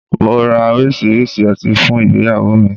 Màá ra oríṣiríṣi ọtí fún ìgbéyàwó mi